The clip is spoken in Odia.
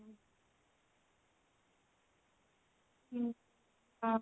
ହୁଁ ହଁ